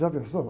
Já pensou?